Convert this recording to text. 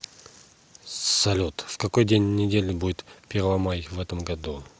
салют в какой день недели будет первомай в этом году